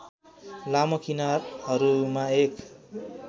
लामो किनारहरूमा एक